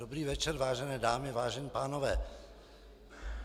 Dobrý večer, vážené dámy, vážení pánové.